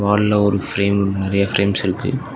வால்ல ஒரு ஃபிரேம் நறைய ஃபிரேம்ஸ் இருக்கு.